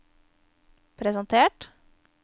presentert